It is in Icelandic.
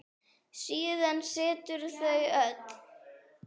Síðan settust þau öll.